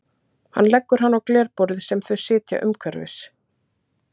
Hann leggur hana á glerborð sem þau sitja umhverfis.